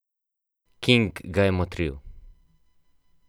King ga je motril.